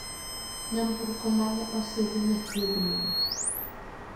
Nyamburko mane osidhi machiegni ni